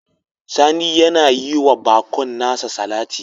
Sani yana yi wa bakon nasa salati